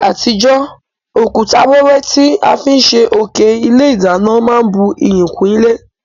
Ní àtijó, òkúta wẹ́wẹ́ ti a fi n sé òké ilé ìdánán má n bu iyì kún ilé